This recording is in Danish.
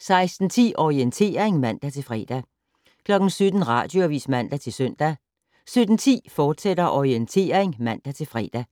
16:10: Orientering (man-fre) 17:00: Radioavis (man-søn) 17:10: Orientering, fortsat (man-fre)